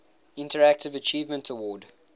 interactive achievement award